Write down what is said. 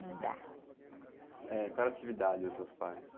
Não dá.h, qual era a atividade dos seus pais?